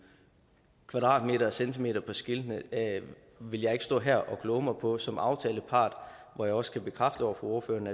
kvadratmeterne og centimeterne på skiltene vil jeg ikke stå her og kloge mig på som aftalepart hvor jeg også kan bekræfte over for ordføreren